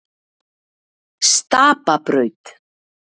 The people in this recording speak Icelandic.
Stapabraut